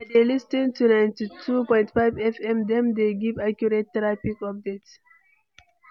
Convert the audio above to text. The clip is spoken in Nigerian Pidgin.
i dey lis ten to 92.5 FM, dem dey give accurate traffic updates.